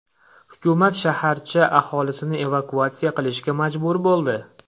Hukumat shaharcha aholisini evakuatsiya qilishga majbur bo‘ldi.